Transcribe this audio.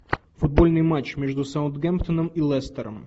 футбольный матч между саутгемптоном и лестером